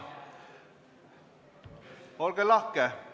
Olge lahke!